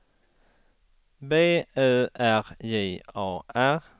B Ö R J A R